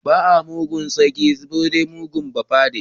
Ba a mugun sarki sai mugun bafade.